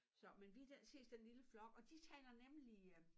Så men vi den ses den lille flok og de taler nemlig øh